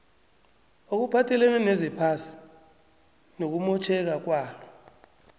okuphathelene nezephasi nokumotjheka kwalo